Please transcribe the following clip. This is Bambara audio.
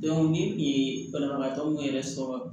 ni kun ye banabagatɔw yɛrɛ sɔrɔ